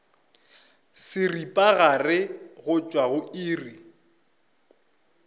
seripagare go tšwa go iri